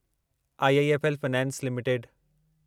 IIFL finance limited